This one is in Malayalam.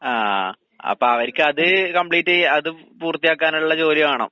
ആഹ് അപ്പവര്ക്കത് കംപ്ലീറ്റ് ചെയ്യാ അതും പൂർത്തിയാക്കാനുള്ള ജോലി വേണം.